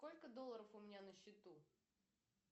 сколько долларов у меня на счету